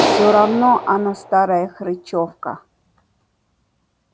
всё равно она старая хрычовка